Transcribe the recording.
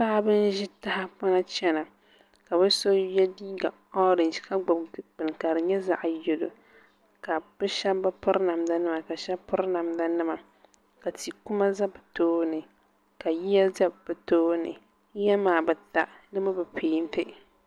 Paɣaba n ʒi tahapona chɛna ka bi so yɛ liiga orɛnji ka gbubi bini ka di nyɛ zaɣ yɛlo ka bi shab bi piri namda nima ka shab piri namda nima ka tia kuma ʒɛ bi tooni ka yiya ʒɛ bi tooni yiya maa bi ta di mii bi peenti